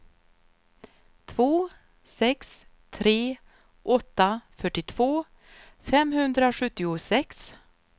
två sex tre åtta fyrtiotvå femhundrasjuttiosex